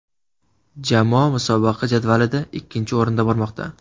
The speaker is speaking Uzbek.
Jamoa musobaqa jadvalida ikkinchi o‘rinda bormoqda.